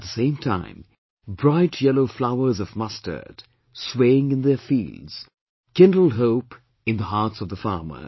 At the same time bright yellow flowers of mustard swaying in their fields kindle hope in the hearts of the farmers